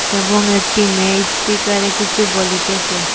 এবং একটি মেয়ে ইস্পিকারে কিছু বলিতেসে।